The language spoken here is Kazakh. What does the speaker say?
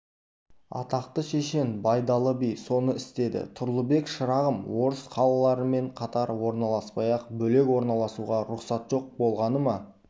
атақты шешен байдалы би соны істеді тұрлыбек шырағым орыс қалаларымен қатар орналаспай-ақ бөлек орналасуға рұқсат жоқ болғаны ма